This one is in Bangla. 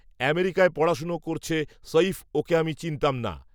আমেরিকায় পড়াশোনা করছে সঈফ ওঁকে আমি চিনতাম না